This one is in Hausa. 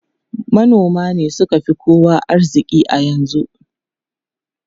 Manoma ne suka fi kowa arziki a yanzu.